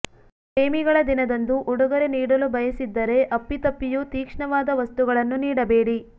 ಪ್ರೇಮಿಗಳ ದಿನದಂದು ಉಡುಗೊರೆ ನೀಡಲು ಬಯಸಿದ್ದರೆ ಅಪ್ಪಿತಪ್ಪಿಯೂ ತೀಕ್ಷ್ಣವಾದ ವಸ್ತುಗಳನ್ನು ನೀಡಬೇಡಿ